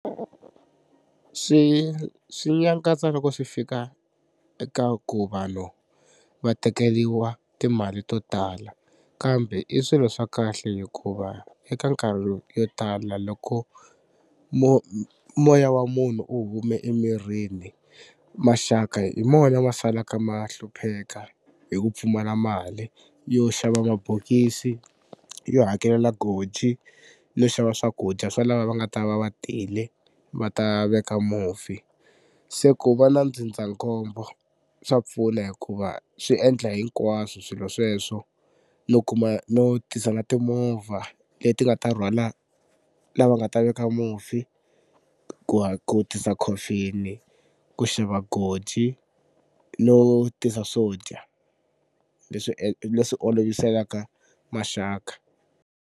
Swi swi nyangatsa loko swi fika eka ku vanhu va tekeriwa timali to tala kambe i swilo swa kahle hikuva eka nkarhi yo tala loko moya wa munhu wu hume emirini maxaka hi mona ma salaka ma hlupheka hi ku pfumala mali yo xava mabokisi, yo hakelela goji, yo xava swakudya swa lava va nga ta va va tile va ta veka mufi. Se ku va na ndzindzakhombo swa pfuna hikuva swi endla hinkwaswo swilo sweswo no kuma no tisa na timovha leti nga ta rhwala lava nga ta veka mufi, ku ku tisa coffin-i, ku xava goji no tisa swo dya leswi leswi oloviselaka maxaka.